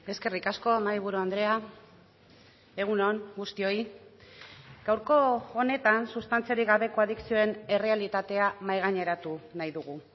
eskerrik asko mahaiburu andrea egun on guztioi gaurko honetan sustantziarik gabeko adikzioen errealitatea mahaigaineratu nahi dugu